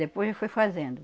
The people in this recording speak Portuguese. Depois eu fui fazendo.